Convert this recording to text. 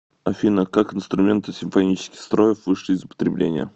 афина как инструменты симфонических строев вышли из употребления